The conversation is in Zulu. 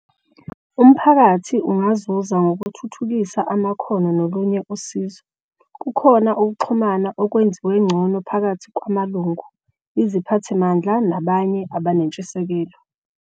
Umphakathi ungazuza ngokuthuthukisa amakhono nolunye usizo. Kukhona ukuxhumana okwenziwe ngcono phakathi kwamalungu, iziphathimandla nabanye abanentshisekelo.